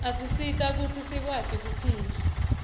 asisita kutsi sikwati kuphila